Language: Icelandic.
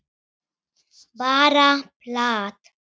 Bara plat.